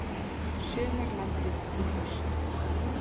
Sumarlandið í haust